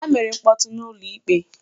Ha mere mkpọtụ n'ụlọ ikpe